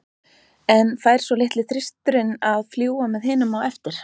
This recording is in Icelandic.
En fær svo litli þristurinn að fljúga með hinum á eftir?